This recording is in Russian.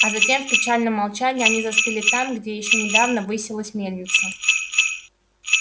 а затем в печальном молчании они застыли там где ещё недавно высилась мельница